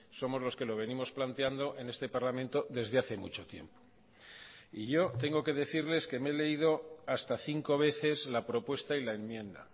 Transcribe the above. somos los que lo venimos planteando en este parlamento desde hace mucho tiempo y yo tengo que decirles que me he leído hasta cinco veces la propuesta y la enmienda